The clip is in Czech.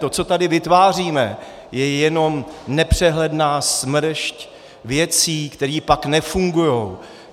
To, co tady vytváříme, je jenom nepřehledná smršť věcí, které pak nefungují.